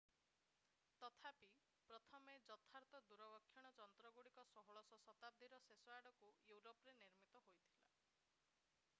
ତଥାପି ପ୍ରଥମ ଯଥାର୍ଥ ଦୂରବୀକ୍ଷଣ ଯନ୍ତ୍ରଗୁଡ଼ିକ 16ଶ ଶତାବ୍ଦୀର ଶେଷ ଆଡକୁ ୟୁରୋପରେ ନିର୍ମିତ ହୋଇଥିଲା